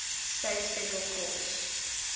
states federal courts